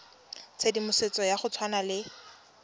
tshedimosetso ya go tshwana le